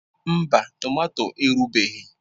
Mba tomato erubeghị.